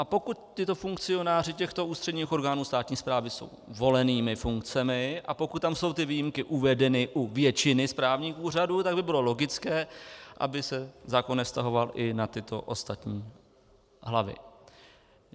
A pokud tito funkcionáři těchto ústředních orgánů státní správy jsou volenými funkcemi a pokud tam jsou ty výjimky uvedeny u většiny správních úřadů, tak by bylo logické, aby se zákon nevztahoval i na tyto ostatní hlavy.